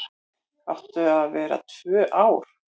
Áttu að vera tvö ár